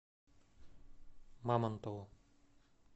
мамонтову